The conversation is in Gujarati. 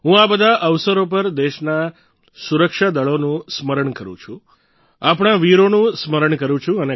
હું આ બધા અવસરો પર દેશના સુરક્ષા દળોનું સ્મરણ કરું છું આપણાં વીરોનું સ્મરણ કરું છું